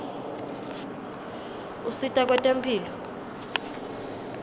usita kwetemphilo